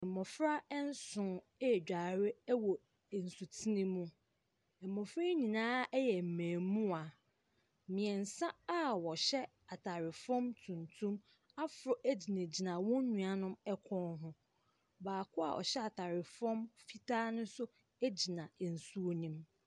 Mmɔfra nson ɛredware wɔ nsutene mu, mmɔfra yi nyinaa yɛ mmaamua, ɛmu mmiɛnsa a wɔhyɛ ataare fam tuntum aforo gyinagyina wɔn nuanom kɔn ho. Baako a ɔhyɛ ataare fam fitaa no gyina nsuo ne mu.